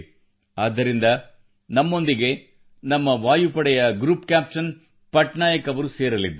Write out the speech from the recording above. ಆದ್ದರಿಂದ ನಮ್ಮೊಂದಿಗೆ ನಮ್ಮ ವಾಯುಪಡೆಯ ಗ್ರೂಪ್ ಕ್ಯಾಪ್ಟನ್ ಪಟ್ನಾಯಕ್ ಅವರು ಸೇರಲಿದ್ದಾರೆ